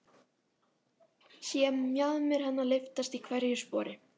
Sé mjaðmir hennar lyftast í hverju spori.